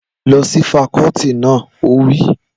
Lọ sí fakọ́ọ́tì náà! Ó wí